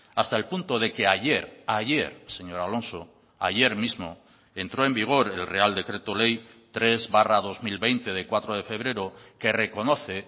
hasta el punto de que ayer ayer señor alonso ayer mismo entró en vigor el real decreto ley tres barra dos mil veinte de cuatro de febrero que reconoce